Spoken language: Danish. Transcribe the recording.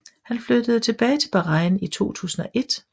Han flyttede tilbage til Bahrain i 2001